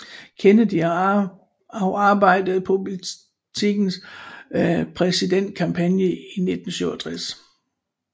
Kennedy og arbejdede på politikerens præsidentkampagne i 1968